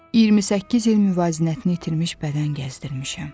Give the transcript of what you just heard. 28 il müvazinətini itirmiş bədən gəzdirmişəm.